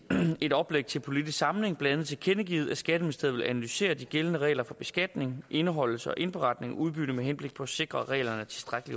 et oplæg til politisk samling blandt andet tilkendegivet at skatteministeriet vil analysere de gældende regler for beskatning indeholdelse og indberetning af udbytte med henblik på at sikre at reglerne